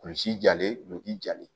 Kulusi jalen no jilen